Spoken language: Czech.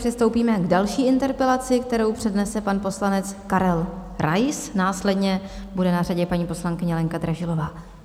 Přistoupíme k další interpelaci, kterou přednese pan poslanec Karel Rais, následně bude na řadě paní poslankyně Lenka Dražilová.